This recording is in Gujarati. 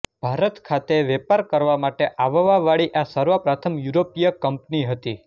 ભારત ખાતે વેપાર કરવા માટે આવવા વાળી આ સર્વપ્રથમ યૂરોપીય કંપની હતી